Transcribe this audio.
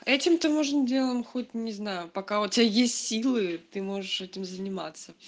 этим то можно делом хоть не знаю пока у тебя есть силы ты можешь этим заниматься